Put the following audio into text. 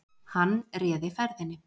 Hann réði ferðinni